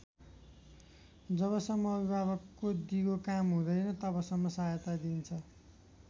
जबसम्म अभिभावकको दिगो काम हुँदैन तबसम्म सहायता दिइन्छ।